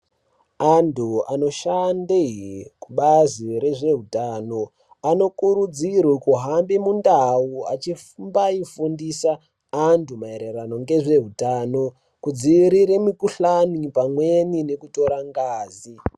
Andu anoshande kubazi rezve utano ano kurudzirwe kuhambe mundau achimbai fundisa andu maererano ngezveutano kudziwirira mukuhlani pamweni nekutora ngazi.